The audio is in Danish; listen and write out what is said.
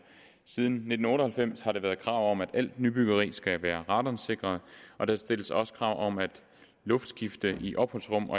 siden nitten otte og halvfems har der været krav om at alt nybyggeri skal være radonsikret og der stilles også krav om luftskifte i opholdsrum